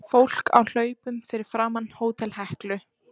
Fólk á hlaupum fyrir framan Hótel Heklu.